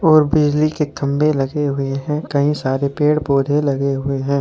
और बिजली के खंभे लगे हुए हैं कईं सारे पेड़ पौधे लगे हुए हैं।